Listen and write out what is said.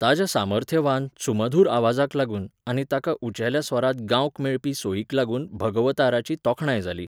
ताच्या सामर्थ्यवान, सुमधुर आवाजाक लागून आनी ताका उंचेल्या स्वरांत गावंक मेळपी सोयीक लागून भगवताराची तोखणाय जाली.